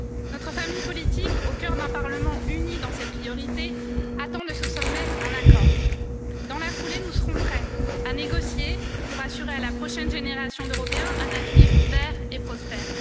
Notre famille politique, au cœur d'un Parlement uni dans ses priorités, attend de ce sommet un accord. Dans la foulée, nous serons prêts à négocier pour assurer à la prochaine génération d'Européens un avenir vert et prospère.